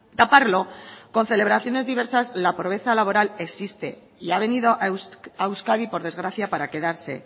taparlo con celebraciones diversas la pobreza laboral existe y ha venido a euskadi por desgracia para quedarse